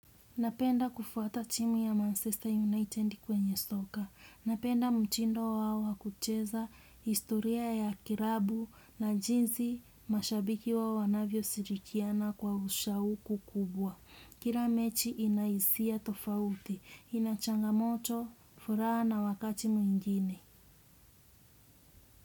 Napenda kufuata timu ya Manchester United kwenye soka. Napenda mtindo wao wa kucheza historia ya klabu na jinsi mashabiki wao wanavyoshirikiana kwa ushauku kubwa. Kila mechi ina hisia tofauti. Ina changamoto, furaha na wakati mwingine.